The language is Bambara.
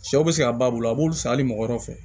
Sɛw bɛ se ka ba bolo a b'olu san hali mɔgɔ wɛrɛ fɛ